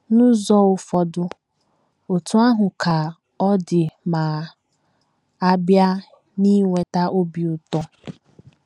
N’ụzọ ụfọdụ, otú ahụ ka ọ dị ma a bịa n’inweta obi ụtọ.